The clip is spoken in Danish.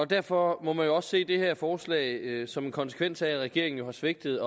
derfor må man jo også se det her forslag som en konsekvens af at regeringen har svigtet